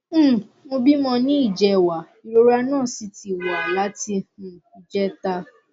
um mo bímọ ní ìjẹwàá ìrora náà sì ti wà láti um ìjẹta